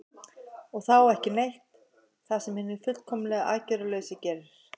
og þá „ekki neitt“ það sem hinn fullkomlega aðgerðalausi gerir